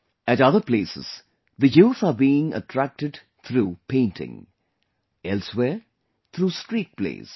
At other places the youth are being attracted through painting; elsewhere through street plays